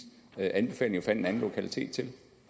anbefalinger fandt en anden lokalitet til